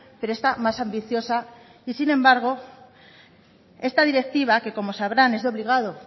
pero esta más ambiciosa y sin embargo esta directiva que como sabrán es de obligado